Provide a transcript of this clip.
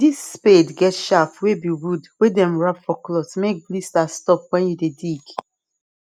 this spade get shaft wey be wood wey dem wrap for cloth make blisters stop when you dey dig